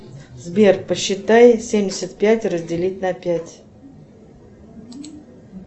сбер посчитай семьдесят пять разделить на пять